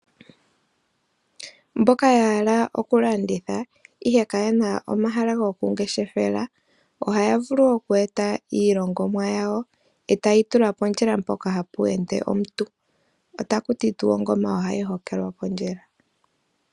Mboka ya hala oku landitha ihe kayena omahala go kungeshefela, ohaya vulu oku eta iilongomwa yawo eta yeyi tula pondjila mpoka hapu ende omuntu, otaku ti tuu ongoma ohayi hokelwa pondjila.